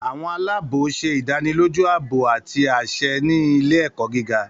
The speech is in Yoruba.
Àwọn aláàbò ṣe idaniloju aabo ati aṣẹ ni ile-ẹkọ giga